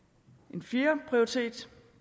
en fjerde prioritet